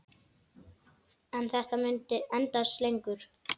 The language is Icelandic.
En þetta mun endast lengur.